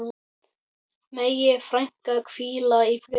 Megi frænka hvíla í friði.